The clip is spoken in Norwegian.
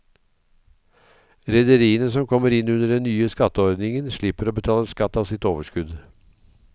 Rederiene som kommer inn under den nye skatteordningen slipper å betale skatt av sitt overskudd.